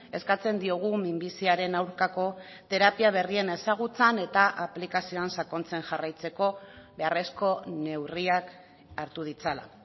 eskatzen diogu minbiziaren aurkako terapia berrien ezagutzan eta aplikazioan sakontzen jarraitzeko beharrezko neurriak hartu ditzala